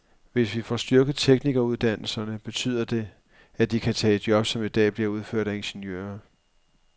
Hvis vi får styrket teknikeruddannelserne, betyder det, at de kan tage job, som i dag bliver udført af ingeniører.